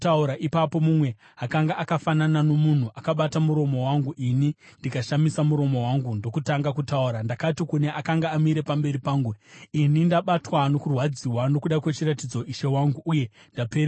Ipapo mumwe akanga akafanana nomunhu akabata muromo wangu, ini ndikashamisa muromo wangu ndokutanga kutaura. Ndakati kune akanga amire pamberi pangu, “Ini ndabatwa nokurwadziwa nokuda kwechiratidzo, ishe wangu, uye ndapererwa.